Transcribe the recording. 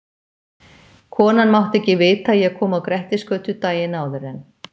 Konan mátti ekki vita að ég kom á Grettisgötu daginn áður en